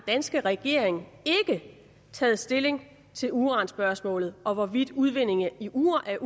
danske regering ikke taget stilling til uranspørgsmålet om hvorvidt udvinding af uran